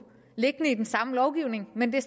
liggende i den samme lovgivning men det